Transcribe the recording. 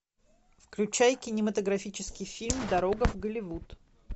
включай кинематографический фильм дорога в голливуд